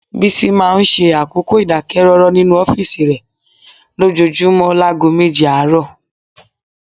Bísí máa ń ṣe àkókò ìdákẹ́rọ́rọ́ nínú ọ́fíìsì rẹ lójoojúmọ́ láago méje àárọ̀